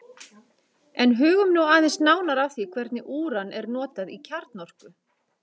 En hugum nú aðeins nánar að því hvernig úran er notað í kjarnorku.